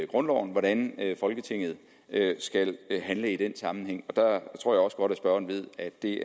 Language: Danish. grundloven hvordan folketinget skal handle i den sammenhæng jeg tror også godt at spørgeren ved at det